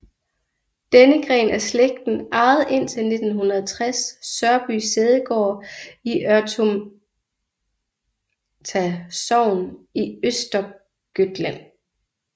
Denne gren af slægten ejede indtil 1960 Sörby sædegård i Örtomta sogn i Östergötland